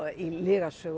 í lygasögu